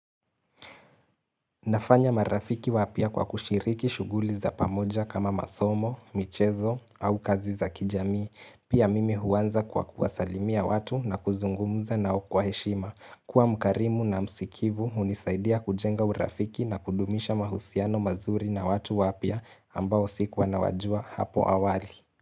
Nafanya marafiki wapya kwa kushiriki shughuli za pamoja kama masomo, michezo au kazi za kijamii. Pia mimi huanza kwa kuwasalimia watu na kuzungumza nao kwa heshima. Kuwa mkarimu na msikivu, hunisaidia kujenga urafiki na kudumisha mahusiano mazuri na watu wapya ambao sikuwa nawajua hapo awali.